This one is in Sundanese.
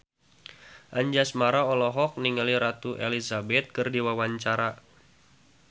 Anjasmara olohok ningali Ratu Elizabeth keur diwawancara